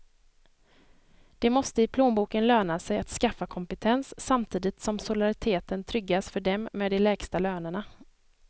Det måste i plånboken löna sig att skaffa kompetens, samtidigt som solidariteten tryggas för dem med de lägsta lönerna.